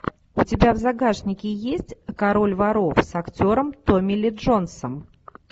у тебя в загашнике есть король воров с актером томми ли джонсом